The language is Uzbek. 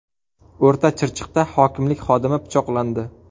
O‘rta Chirchiqda hokimlik xodimi pichoqlandi.